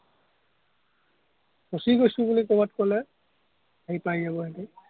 ফচি গৈছো বুলি ক'ৰবাত ক'লে, আহি পাই যাব